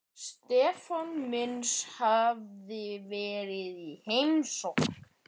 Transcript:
Stefáns míns hafi verið í heimsókn.